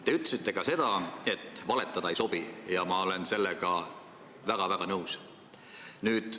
Te ütlesite ka seda, et valetada ei sobi, ja ma olen sellega väga-väga nõus.